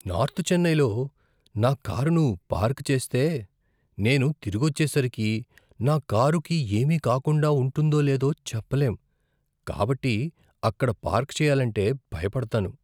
North చెన్నైలో నా కారును పార్క్ చేస్తే నేను తిరిగొచ్చేసరికి నా కారుకి ఏమి కాకుండా ఉంటుందో లేదో చెప్పలేం కాబట్టి అక్కడ పార్క్ చేయాలంటే భయపడతాను.